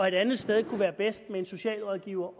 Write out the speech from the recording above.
et andet sted kunne være bedst med en socialrådgiver